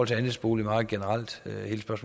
til andelsboligmarkedet generelt